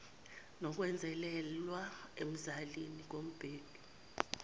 nokwenzelelwa emzalini kumbheki